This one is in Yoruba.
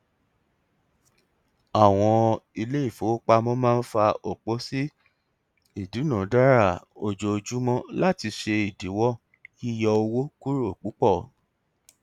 àwọn iléifowópamọ máa ń fà òpó sí ìdúnàdàrà ojoojúmọ láti ṣe ìdíwọ yíyọ owó kúrò púpọ